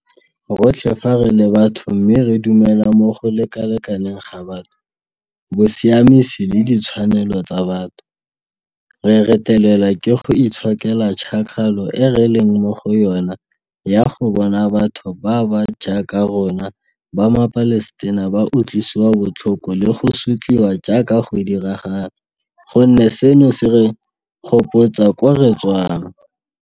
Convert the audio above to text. Rotlhe fa re le batho mme re dumela mo go lekalekaneng ga batho, bosiamisi le di tshwanelo tsa batho, re retelelwa ke go itshokela tšhakgalo e re leng mo go yona ya go bona batho ba ba jaaka rona ba maPalestina ba utlwisiwa botlhoko le go sotliwa jaaka go diragala gonne seno se re gopotsa koo re tswang.